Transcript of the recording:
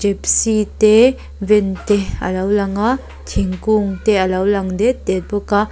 gypsy te van te a lo lang a thingkung te a lo lang det det bawk a.